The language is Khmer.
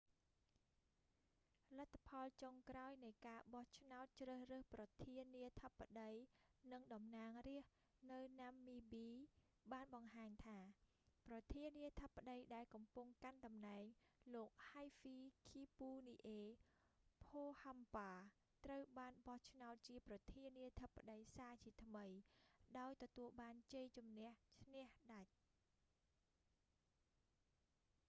លទ្ធផលចុងក្រោយនៃការបោះឆ្នោតជ្រើសរើសប្រធានាធិបតីនិងតំណាងរាស្តនៅណាំមីប៊ី បានបង្ហាញថា ប្រធានាធិបតីដែលកំពុងកាន់តំណែង លោក ហៃហ្វីឃីពូនីអេ ផូហាំប៉ា hifikepunye pohamba ត្រូវបានបោះឆ្នោតជាប្រធានាធិបតីសាជាថ្មី ដោយទទួលបានជ័យជន្នះឈ្នះដាច់